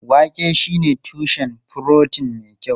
Wake shine tushen furotin mai kyau.